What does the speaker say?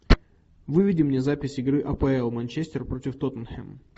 выведи мне запись игры апл манчестер против тоттенхэм